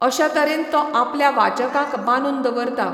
अशा तरेन तो आपल्या वाचकांक बांदून दवरता.